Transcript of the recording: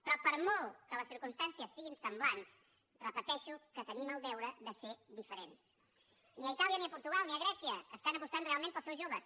però per molt que les circumstàncies siguin semblants repeteixo que tenim el deure de ser diferents ni a itàlia ni a portugal ni a grècia estan apostant realment pels seus joves